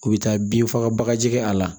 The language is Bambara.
U bɛ taa bin faga bagaji kɛ a la